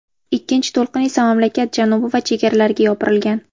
Ikkinchi to‘lqin esa mamlakat janubi va chegaralariga yopirilgan.